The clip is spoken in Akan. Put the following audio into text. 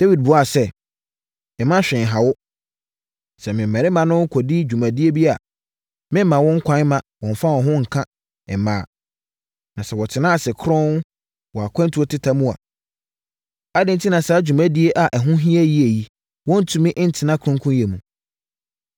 Dawid buaa sɛ, “Mma hwee nha wo. Sɛ me mmarima no kɔdi dwuma bi baabi a, memmma wɔn kwan mma wɔmmfa wɔn ho nka mmaa. Na sɛ wɔtena ase kronn wɔ akwantuo teta mu a, adɛn enti na saa dwumadie a ɛho hia yie yi, wɔntumi ntena kronnyɛ mu.”